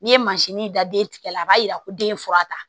N'i ye mansini da den tigɛ la a b'a yira ko den ye fura ta